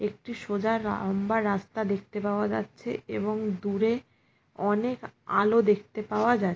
একটি সোজা রা লম্বা রাস্তা দেখতে পাওয়া যাচ্ছে এবং দূরে অনেক আলো দেখতে পাওয়া যা--